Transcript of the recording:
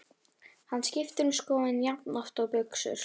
Hann skiptir um skoðun jafnoft og buxur.